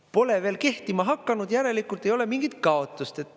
Pole veel kehtima hakanud, järelikult ei ole mingit kaotust.